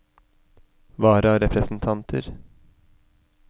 vararepresentanter